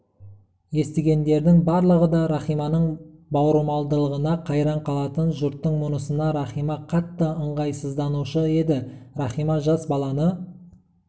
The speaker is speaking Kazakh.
естігендердің барлығы да рахиманың бауырмалдығына қайран қалатын жұрттың мұнысына рахима қатты ыңғайсызданушы еді рахима жас баланы